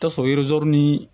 Tasɔrɔ ni